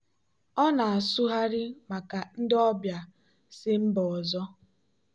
ọ na-asụgharị maka ndị ọbịa si mba ọzọ.